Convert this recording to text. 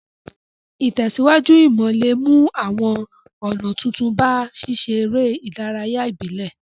Ìtẹ̀síwájú ìmò le mu àwon ònà tuntun ba síseré ìdárayá ìbílẹ̀